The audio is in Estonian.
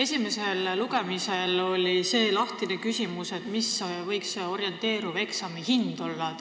Esimesel lugemisel jäi lahtiseks see küsimus, et mis võiks olla eksami orienteeriv hind.